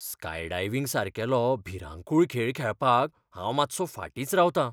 Skydiving सारकिलो भिरांकूळ खेळ खेळपाक हांव मात्सो फाटींच रावतां.